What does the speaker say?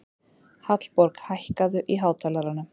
Hallborg, hækkaðu í hátalaranum.